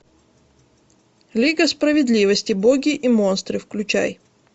лига справедливости боги и монстры включай